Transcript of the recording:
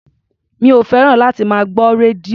Mi ò fẹ́ràn láti máa gbọ́ rédíò.